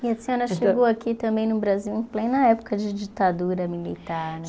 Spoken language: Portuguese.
E a senhora chegou aqui também no Brasil em plena época de ditadura militar